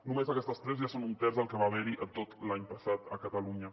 només aquestes tres ja són un terç del que va haver hi tot l’any passat a catalunya